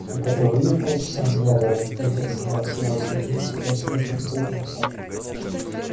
так это вы её полчаса разглядывали поинтересовалась я у сергея шипящим от злости голосом